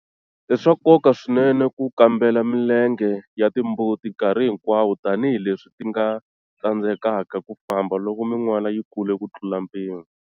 I swa nkoka swinene ku kambela milenge ya timbuti nkarhi hinkwawo tani hi leswi ti nga tsandzekaka ku famba loko minwala yi kule ku tlula mpimo.